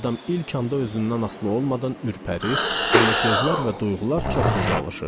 Adam ilk anda özündən asılı olmadan ürpərir, amma gözlər və duyğular çox tez alışır.